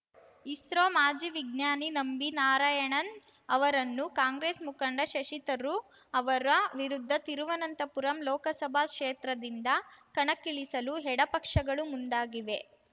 ಇಸ್ರೋ ಮಾಜಿ ವಿಜ್ಞಾನಿ ನಂಬಿ ನಾರಾಯಣನ್‌ ಅವರನ್ನು ಕಾಂಗ್ರೆಸ್‌ ಮುಖಂಡ ಶಶಿ ತರೂರ್‌ ಅವರ ವಿರುದ್ಧ ತಿರುವನಂತಪುರಂ ಲೋಕಸಭಾ ಕ್ಷೇತ್ರದಿಂದ ಕಣಕ್ಕಿಳಿಸಲು ಎಡ ಪಕ್ಷಗಳು ಮುಂದಾಗಿವೆ